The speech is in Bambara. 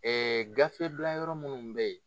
Ɛɛ gafebilayɔrɔ minnu bɛ yen